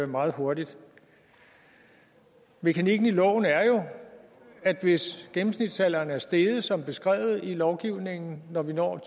meget hurtigt mekanikken i loven er jo at hvis gennemsnitsalderen er steget som beskrevet i lovgivningen når vi når